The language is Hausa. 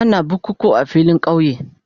Ana bukukuwa a filin kauye.